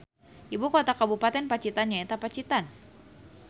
Ibu kota kabupaten Pacitan nyaeta Pacitan